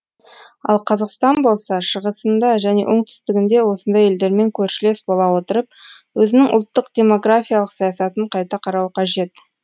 ал қазақстан болса шығысында және оңтүстігінде осындай елдермен көршілес бола отырып өзінің ұлттық демографиялық саясатын қайта қарауы қажет